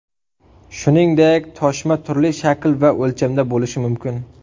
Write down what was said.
Shuningdek, toshma turli shakl va o‘lchamda bo‘lishi mumkin.